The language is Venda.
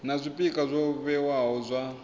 na zwpikwa zwo vhewaho zwa